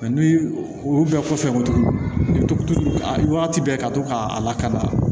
ni olu bɛɛ kɔfɛ tugu a wagati bɛɛ ka to k'a lakalan